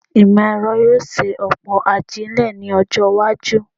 Ìmọ̀-ẹ̀rọ yóò ṣe ọ̀pọ̀ ajílẹ̀ ní ọjọ́-iwájú.